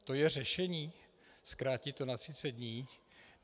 To je řešení, zkrátit to na 30 dní?